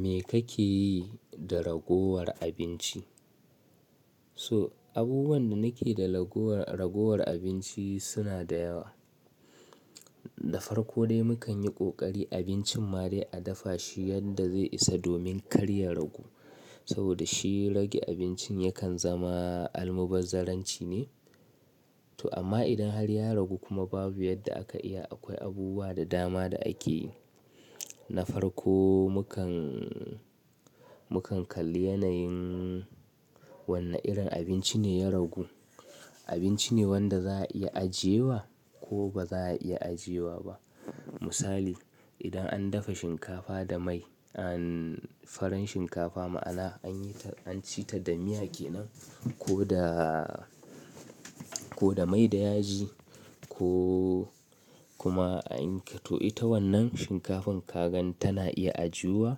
Me kake yi da ragowar abinci? So abubuwan da nakeyi da raguwar abinci suna da yawa. Da farko dai mukan yi ƙoƙari abincin madai a dafa shi yadda zai isa domin kar ya ragu. Saboda shi rage abincin yakan zama almubazzaranci ne. To amma idan har ya ragu kuma babu yadda aka iya, akwai abubuwa da dama da ake yi. Na farko mukan, mukan kalli yanayin wani irin abinci ne ya ragu. Abinci ne wanda za a iya ajiyewa ko ba za a iya ajiyewa ba. Misali, idan an dafa shinkafa da mai, an farin shinkafa ma'ana an yi ta an ci ta da miya kenan ko da, koda mai da yaji ko kuma ita wannan shin kafan kaga tana iya ajiyuwa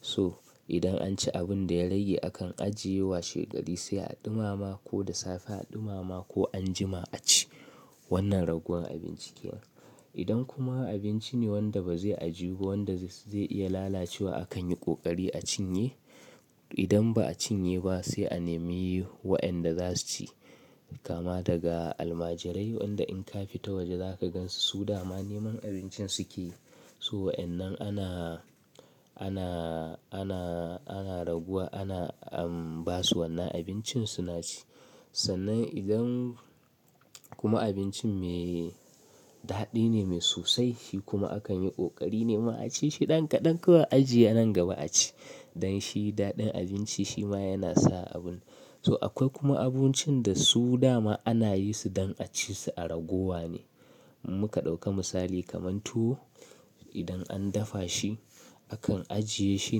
so idan an ci abun da ya rage akan ajiye wa shegari sai a ɗumama ko da safe a ɗumama ko anjima a ci wannan raguwar abinci kenan. Idan kuma abinci ne wanda ba zai ajiyu ba wanda zai iya lalacewa akan yi kokari a cinye. Idan ba a cinye ba sai a nemi wa'yanda za su ci. Kama daga almajirai wanda in ka fita waje zaka gansu su dama neman abincin suke yi. So wa'annan ana, ana, ana, ana raguwa ana ba su wannan abincin suna ci. Sannan idan kuma abincin mai daɗi ne, mai sosai shi kuma akan yi ƙoƙari nema a ci shi ɗan kaɗan kuma ajiye nan gaba a ci. Don shi daɗin abinci shi ma yana sa abun. To akwai kuma abincin da su dama ana yi su don a ci su a ragowa ne. Mu ka ɗauka misali kamar tuwo idan an dafa shi akan ajiye shi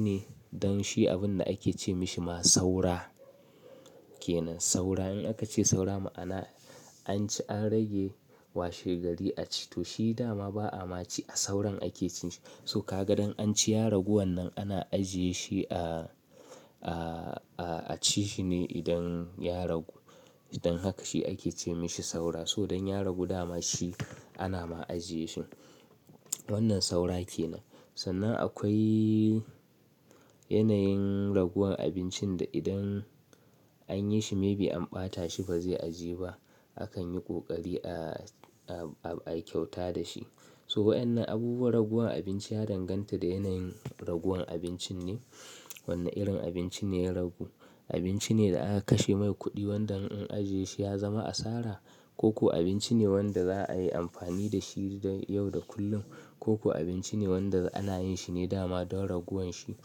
ne don shi abun da ake ce mishi ma saura kenan. Saura in aka ce saura ma'ana an ci an rage wa shegari a ci to shi dama ba'a ma ci a sauran ake cin shi. So kaga dan anci ya ragu wannan ana ajiyeshi a cishi ne idan ya ragu, dan haka shi ake ce mishi saura so dan ya ragu dama shi ana ma ajiye shi. Wannan saura kenan. Sannan akwai yanayin raguwar abincin da idan an yi shi maybe an ɓata shi ba zai ajiye ba akan yi kokari a, a kyauta da shi. So wa'annan abubuwan raguwar abinci ya danganta da yanayin raguwar abincin ne. Wani irin abunci ne yaragu. Abinci ne da aka kashe mai kuɗi wanda in an ajiye shi ya zama asara ko kuwa abinci ne wanda za'a yi amfani da shi yau da kullum ko kuwa abinci ne wanda ana yin shi ne dama don raguwan shi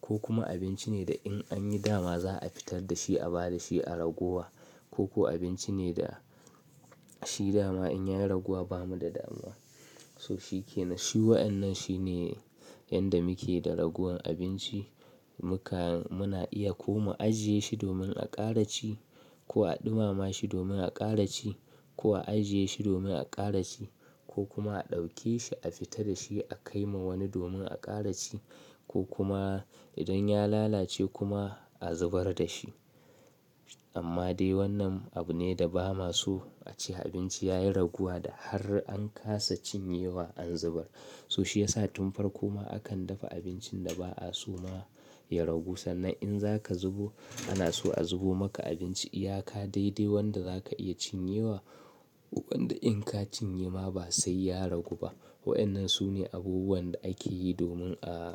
ko kuma abinci ne da in an yi dama za'a fitar da shi a ba da shi a ragowa koko abinci ne da shi daman inyayi raguwa bamida too shi kenan. Shi wa'annan shi ne yanda muke da raguwan abinci. Muka-- muna iya ko mu ajiye shi domin a ƙara ci ko a ɗumama shi domin a ƙara ci ko a ajiye shi domin a ƙara ci ko kuma a ɗauke shi a fitar da shi a kai wa wani domin a ƙara ci ko kuma idan ya lalace kuma a zubar da shi. Amma dai wannan abu ne da ba ma so a ce abinci ya yi ragowa da har an kasa cinyewa an zubar. To shiyasa tun farko ma akan dafa abinci da ba aso ya ragu sannan in zaka zubo ana so a zubo maka abinci iyaka daidai wanda zaka iya cinyewa wanda in ka cinye ma ba sai ya ragu ba. Wa'annan su ne abubuwan da ake yi domin a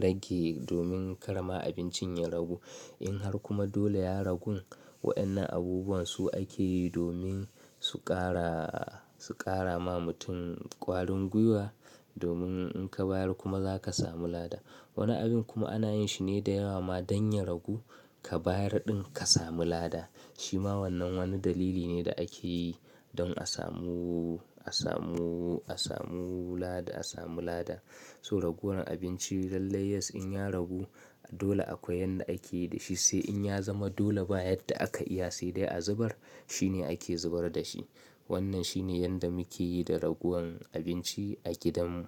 rage domin kar ma abincin ya ragu. In har kuma dole ya ragu wa'annan abubuwan su ake yi domin su ƙara, su ƙara ma mutum ƙwarin gwiwa domin in ka bayar kuma zaka samu lada. Wani abin kuma ana yin shi ne da yawa ma dan ya ragu ka bayar ɗin ka samu lada. Shi ma wannan wani dalili ne da ake yi don a samu, a samu, a samu lada, a samu lada. So raguwar abinci lallai yes in ya ragu dole akwai yanda ake yi da shi sai in ya zama dole ba yadda aka iya sai dai a zubar shi ne ake zubar da shi. Wannan shi ne yanda muke yi da raguwan abinci a gidanmu.